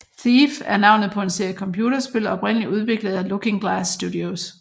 Thief er navnet på en serie computerspil oprindeligt udviklet af Looking Glass Studios